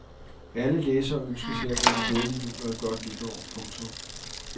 Alle læsere ønskes hermed en glædelig jul og et godt nytår. punktum